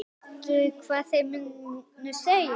Veistu hvað þeir munu segja?